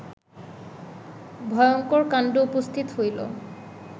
ভয়ঙ্কর কাণ্ড উপস্থিত হইল